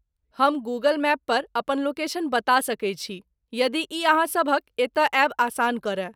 हम Google map पर अपन लोकेशन बता सकैत छी यदि ई अहाँ सभक एतय आयब आसान करय।